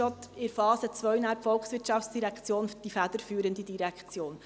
daher ist die VOL in der Phase II dann die federführende Direktion.